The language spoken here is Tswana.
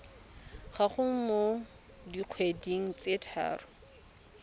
gago mo dikgweding tse tharo